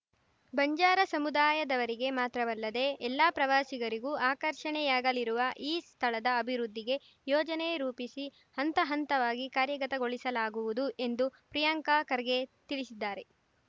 ಬಂಜಾರ ಸಮುದಾಯದವರಿಗೆ ಮಾತ್ರವಲ್ಲದೆ ಎಲ್ಲಾ ಪ್ರವಾಸಿಗರಿಗೂ ಆಕರ್ಷಣೆಯಾಗಲಿರುವ ಈ ಸ್ಥಳದ ಅಭಿವೃದ್ಧಿಗೆ ಯೋಜನೆ ರೂಪಿಸಿ ಹಂತ ಹಂತವಾಗಿ ಕಾರ್ಯಗತಗೊಳಿಸಲಾಗುವುದು ಎಂದು ಪ್ರಿಯಾಂಕ ಖರ್ಗೆ ತಿಳಿಸಿದ್ದಾರೆ